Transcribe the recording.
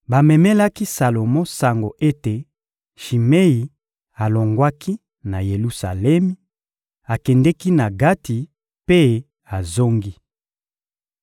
Bamemelaki Salomo sango ete Shimei alongwaki na Yelusalemi, akendeki na Gati mpe azongi.